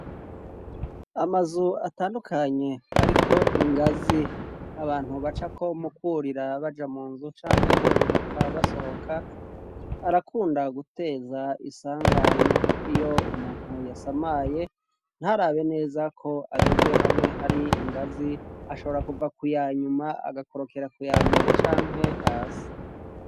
Amazu atandukanye ariko ingazi abantu bacako mu kurira baja mu nzu canke bururuka basohoka arakunda guteza isanganya iyo umuntu yasamaye ntarabe neza ko ageze hamwe hari ingazi ashobora kuva kuyanyuma agakorokera kuyambere canke hasi.